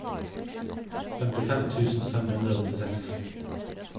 femtifem tusen fem hundre og nittiseks